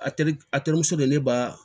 A teri a terimuso de ne ba